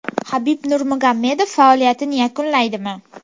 Habib Nurmagomedov faoliyatini yakunlaydimi?